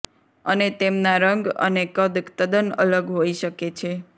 અને તેમના રંગ અને કદ તદ્દન અલગ હોઈ શકે છે